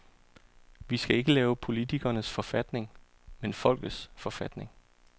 Vi skal ikke lave politikernes forfatning, men folkets forfatning.